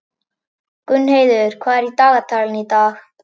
Gunnheiður, hvað er á dagatalinu í dag?